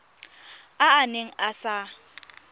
a a neng a sa